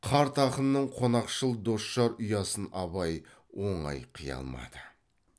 қарт ақынның қонақшыл досжар ұясын абай оңай қия алмады